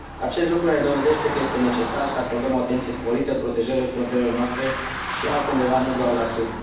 Acest lucru ne dovedește că este necesar să acordăm o atenție sporită protejării frontierelor noastre și altundeva, nu doar la sud.